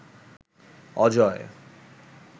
Ajay